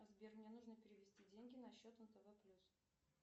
сбер мне нужно перевести деньги на счет нтв плюс